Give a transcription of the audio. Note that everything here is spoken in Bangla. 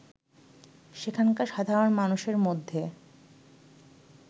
সেখানকার সাধারণ মানুষের মধ্যে